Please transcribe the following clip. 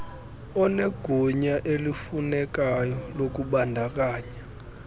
onegunya elifunekayo lokubandakanya